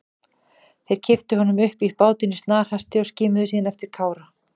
Þeir kipptu honum upp í bátinn í snarhasti og skimuðu síðan eftir Kára.